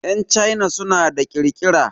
Yan China suna da ƙirƙira.